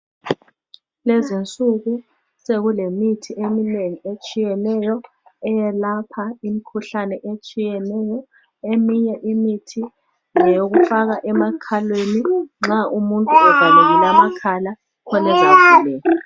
Kulezinsuku sekulemithi eminengi etshiyeneyo eyelapha imikhuhlane etshiyeneyo eminye imithi ngeyokufaka emakhaleni nxa umuntu evalekile amakhala khona ezavuleka.